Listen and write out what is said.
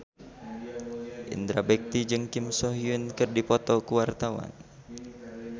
Indra Bekti jeung Kim So Hyun keur dipoto ku wartawan